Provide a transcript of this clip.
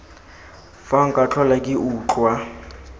fa nka tlhola ke utlwa